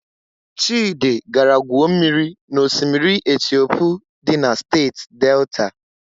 Chịdị gara gwuo mmiri na osimiri Etiopu dị na Steeti Delta.